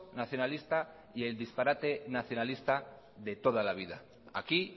nacionalista y el disparate nacionalista de toda la vida aquí